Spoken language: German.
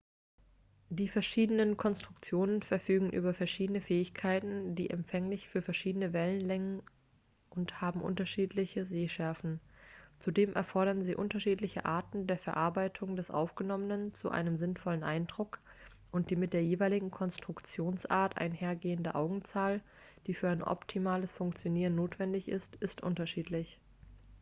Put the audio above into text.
die verschiedenen konstruktionen verfügen über verschiedene fähigkeiten sind empfänglich für verschiedene wellenlängen und haben unterschiedliche sehschärfen zudem erfordern sie unterschiedliche arten der verarbeitung des aufgenommenen zu einem sinnvollen eindruck und die mit der jeweiligen konstruktionsart einhergehende augenzahl die für ein optimales funkionieren notwendig ist ist unterschiedlich